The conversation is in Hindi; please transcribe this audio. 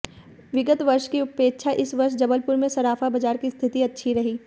विगत वर्ष की अपेक्षा इस वर्ष जबलपुर में सराफा बाजार की स्थिति अच्छी रही